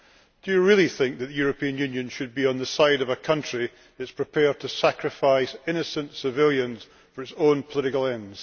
Do you really think that the European Union should be on the side of a country which is prepared to sacrifice innocent civilians for its own political ends?